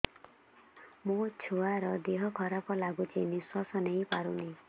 ମୋ ଛୁଆର ଦିହ ଖରାପ ଲାଗୁଚି ନିଃଶ୍ବାସ ନେଇ ପାରୁନି